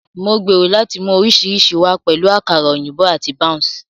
Mo gbèrò láti mú oríṣiríṣi wá, pẹ̀lú àkàrà òyìnbó àti bounce.